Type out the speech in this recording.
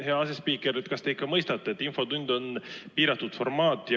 Hea asespiiker, kas te ikka mõistate, et infotund on piiratud formaat?